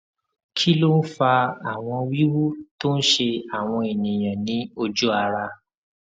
kí ló ń fa àwọn wiwu tó ń ṣe àwọn èèyàn ní oju ara